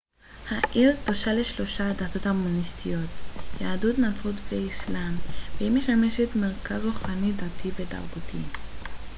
העיר קדושה לשלושת הדתות המונותאיסטיות יהדות נצרות ואסלאם והיא משמשת מרכז רוחני דתי ותרבותי